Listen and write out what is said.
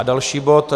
A další bod -